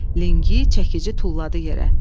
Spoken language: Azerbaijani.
Lingi, çəkici tulladı yerə.